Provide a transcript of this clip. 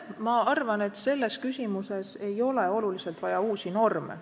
Ma arvan, et selles küsimuses ei ole hädasti vaja uusi norme.